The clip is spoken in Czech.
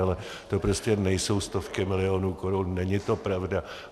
Ale to prostě nejsou stovky milionů korun, není to pravda.